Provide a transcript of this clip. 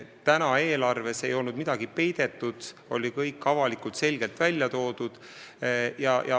Täna ei ole eelarves midagi peidetud, kõik on avalikult ja selgelt välja toodud.